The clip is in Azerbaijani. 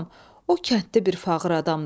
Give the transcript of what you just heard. Balam, o kənddə bir fağır adamdır.